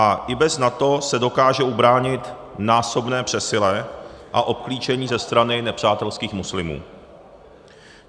A i bez NATO se dokáže ubránit násobné přesile a obklíčení ze strany nepřátelských muslimů.